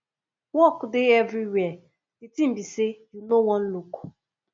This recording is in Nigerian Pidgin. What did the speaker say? work dey everywhere the thing be say you no wan look